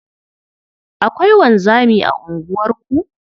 Akwai wanzami a unguwarku?